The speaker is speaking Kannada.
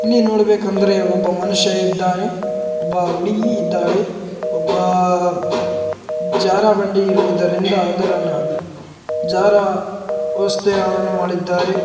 ಇಲ್ಲಿ ನೋಡಬೇಕಂದ್ರೆ ಒಬ್ಬ ಮನುಷ್ಯ ಇದ್ದಾನೆ ಒಬ್ಬ ಹುಡುಗಿ ಇದ್ದಾಳೆ ಒಬ್ಬ ಜಾರ ಬಂಡಿ ಇರುವುದರಿಂದ ಅದನ್ನು ಜಾರುವ ವ್ಯವಸ್ಥೆಯನ್ನು ಮಾಡಿದ್ದಾರೆ .